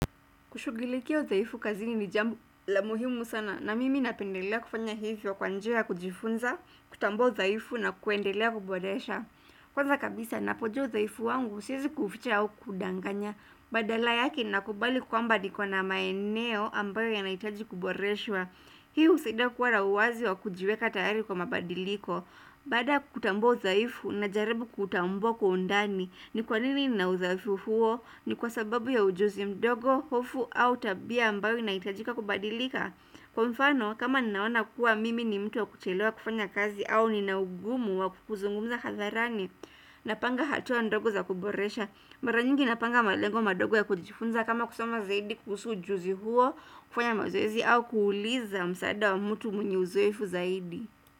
Kushughulikia udhaifu kazini ni jambo la muhimu sana na mimi napendelea kufanya hivyo kwa njia ya kujifunza, kutambua udhaifu na kuendelea kuboresha. Kwanza kabisa napojua udhaifu wangu siwezi kuficha au kukudanganya, badala yake nakubali kwamba niko na maeneo ambayo yanahitaji kuboreshwa. Hii husaidia kuwa na uwazi wa kujiweka tayari kwa mabadiliko. Baada ya kutambo udhaifu najaribu kutambo kwa undani ni kwa nini nina udhaifu huo ni kwa sababu ya ujuzi mdogo hofu au tabia ambayo inahitajika kubadilika Kwa mfano kama naona kuwa mimi ni mtu wa kuchelewa kufanya kazi au nina ugumu wa kukuzungumza hadharani Napanga hatua ndogo za kuboresha Maranyingi napanga malengo madogo ya kujifunza kama kusoma zaidi kuhusu ujuzi huo kufanya mazoezi au kuuliza msaada wa mtu mwenye uzoefu zaidi.